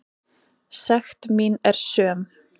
Sekt mín er söm.